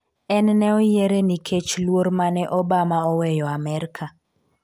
en ne oyiere nikech luor mane Obama oweyo Amerka